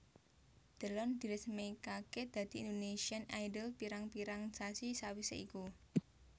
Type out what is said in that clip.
Delon diresmékaké dadi Indonesian Idol pirang pirang sasi sawisé iku